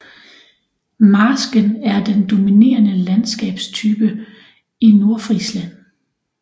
Marsken er den dominerende landskabstyp i Nordfrisland